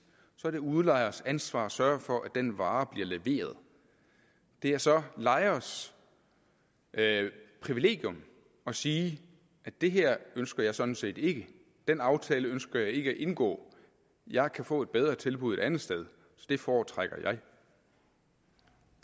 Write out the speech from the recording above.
så er det udlejerens ansvar at sørge for at den vare bliver leveret det er så lejerens privilegium at sige det her ønsker jeg sådan set ikke den aftale ønsker jeg ikke at indgå jeg kan få et bedre tilbud et andet sted så det foretrækker